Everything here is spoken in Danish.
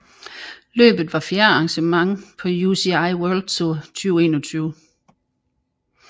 Løbet var fjerde arrangement på UCI World Tour 2021